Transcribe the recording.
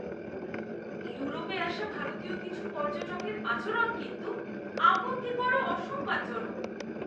ইউরোপে আসা ভারতীয় কিছু পর্যটকের আচরণ কিন্তু আপত্তিকর ও অসম্মানজনক।